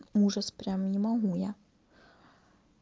ужас прямо не могу я